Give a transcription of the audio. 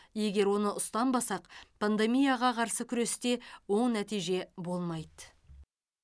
егер оны ұстанбасақ пандемияға қарсы күресте оң нәтиже болмайды